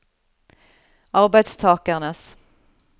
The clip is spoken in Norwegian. arbeidstakernes